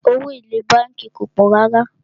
Owó èlé bánkì kìí pọ̀ rárá.